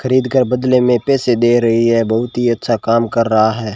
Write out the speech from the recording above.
खरीदकार बदले मे पैसे दे रही है बहुत ही अच्छा काम कर रहा है।